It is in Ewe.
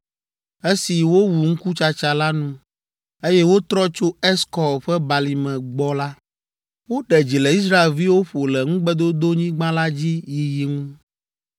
Esi wowu ŋkutsatsa la nu, eye wotrɔ tso Eskɔl ƒe balime gbɔ la, woɖe dzi le Israelviwo ƒo le Ŋugbedodonyigba la dzi yiyi ŋu.